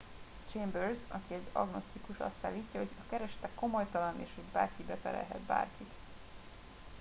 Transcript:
chambers aki egy agnosztikus azt állítja hogy a keresete komolytalan és hogy bárki beperelhet bárkit